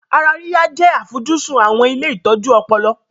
Ara yíyá jẹ́ àfojúsùn àwọn ilé ìtọ́jú ọpọlọ